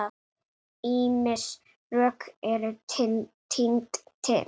Ýmis rök eru tínd til.